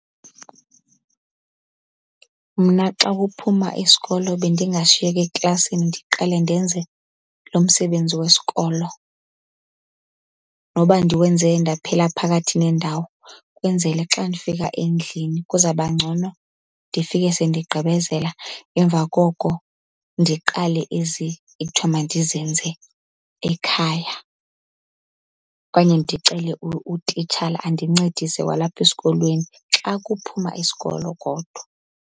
Mna xa kuphuma isikolo bendingashiyeka eklasini ndiqale ndenze loo msebenzi wesikolo noba ndiwenze ndaphela phakathi nendawo, kwenzele xa ndifika endlini kuzawuba ngcono. Ndifike sendigqibezela emva koko ndiqale ezi ekuthiwa mandizenze ekhaya. Okanye ndicele utitshala andincedise kwalapha esikolweni, xa kuphuma isikolo kodwa.